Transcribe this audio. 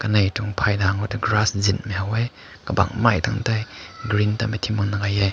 nai tüng pai na nlai zin na hai wae kabang mae ta na dianghmei ne ting bhun nai hai he.